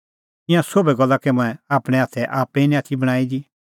ईंयां सोभै गल्ला कै मंऐं आपणैं हाथै आप्पै निं आथी बणांईं दी